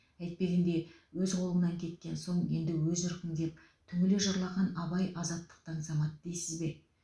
әйтпегенде өз қолыңнан кеткен соң енді өз ырқың деп түңіле жырлаған абай азаттықты аңсамады дейсіз бе